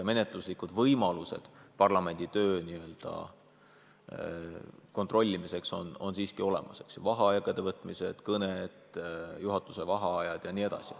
Menetluslikud võimalused parlamendi töö n-ö kontrolli all hoidmiseks on siiski olemas: vaheaegade võtmised, pikad kõned, juhatuse vaheajad jne.